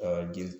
jeli